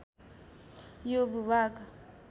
यो भूभाग